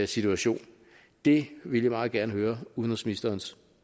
situation det vil jeg meget gerne høre udenrigsministerens